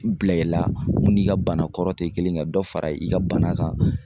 Bila i la mun n'i ka bana kɔrɔ tɛ kelen ka dɔ fara i ka bana kan